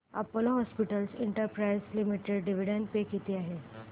Apollo hospitals enterprise limited dividend pay किती आहे